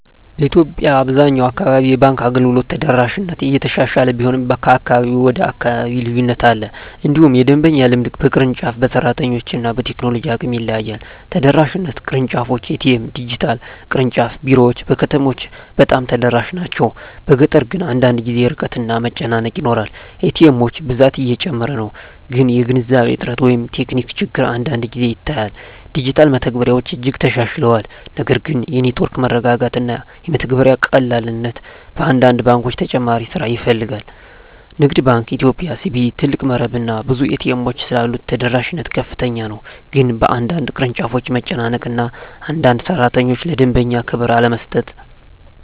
በኢትዮጵያ አብዛኛው አካባቢ የባንክ አገልግሎት ተደራሽነት እየተሻሻለ ቢሆንም ከአካባቢ ወደ አካባቢ ልዩነት አለ። እንዲሁም የደንበኛ ልምድ በቅርንጫፍ፣ በሰራተኞች እና በቴክኖሎጂ አቅም ይለያያል። ተደራሽነት (ቅርንጫፎች፣ ኤ.ቲ.ኤም፣ ዲጂታል) ቅርንጫፍ ቢሮዎች በከተሞች በጣም ተደራሽ ናቸው፤ በገጠር ግን አንዳንድ ጊዜ ርቀት እና መጨናነቅ ይኖራል። ኤ.ቲ. ኤሞች ብዛት እየጨመረ ነው፣ ግን የገንዘብ እጥረት ወይም ቴክኒክ ችግር አንዳንድ ጊዜ ይታያል። ዲጂታል መተግበሪያዎች እጅግ ተሻሽለዋል፣ ነገር ግን የኔትወርክ መረጋጋት እና የመተግበሪያ ቀላልነት በአንዳንድ ባንኮች ተጨማሪ ስራ ይፈልጋል። ንግድ ባንክ ኢትዮጵያ (CBE) ትልቅ መረብ እና ብዙ ኤ.ቲ. ኤሞች ስላሉት ተደራሽነት ከፍተኛ ነው፤ ግን በአንዳንድ ቅርንጫፎች መጨናነቅ እና አንዳንድ ሠራተኞች ለደንበኛ ክብር አለመስጠት